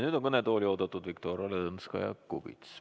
Nüüd on kõnetooli oodatud Viktoria Ladõnskaja-Kubits.